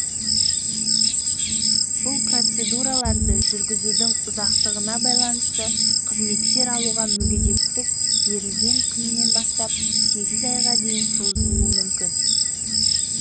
бұл процедураларды жүргізудің ұзақтығына байланысты қызметтер алуға мүгедектік берілген күнінен бастап сегіз айға дейін созылуы мүмкін